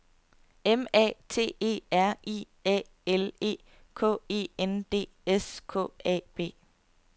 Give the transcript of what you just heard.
M A T E R I A L E K E N D S K A B